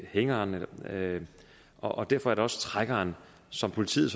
hængeren og derfor er det også trækkeren som politiet